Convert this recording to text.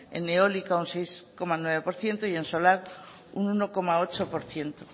en eólica un seis coma nueve por ciento y en solar un uno coma ocho por ciento